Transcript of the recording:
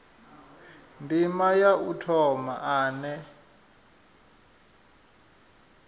ndima ya u thoma ane